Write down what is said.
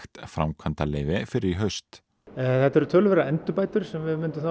framkvæmdaleyfi fyrr í haust þetta eru töluverðar endurbætur sem við myndum